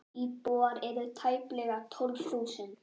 Íbúar eru tæplega tólf þúsund.